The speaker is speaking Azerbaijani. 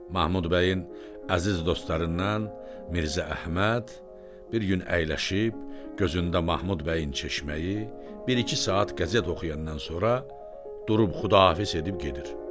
Mahmud bəyin əziz dostlarından Mirzə Əhməd bir gün əyləşib gözündən Mahmud bəyin çeşməyi, bir-iki saat qəzet oxuyandan sonra durub xudafiz edib gedir.